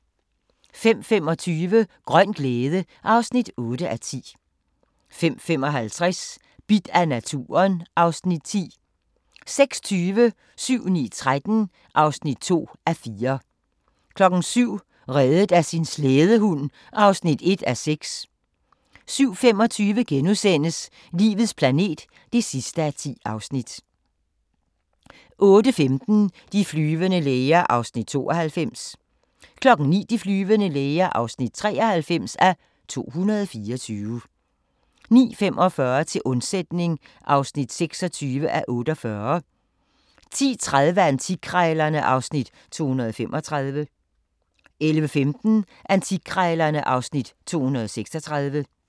05:25: Grøn glæde (8:10) 05:55: Bidt af naturen (Afs. 10) 06:20: 7-9-13 (2:4) 07:00: Reddet af sin slædehund (1:6) 07:25: Livets planet (10:10)* 08:15: De flyvende læger (92:224) 09:00: De flyvende læger (93:224) 09:45: Til undsætning (26:48) 10:30: Antikkrejlerne (Afs. 235) 11:15: Antikkrejlerne (Afs. 236)